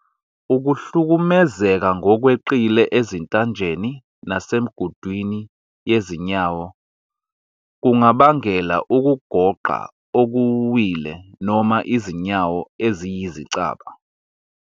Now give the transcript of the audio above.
Ukuhlukumezeka ngokweqile ezintanjeni nasemigudwini yezinyawo kungabangela ukugoqa okuwile noma izinyawo eziyizicaba.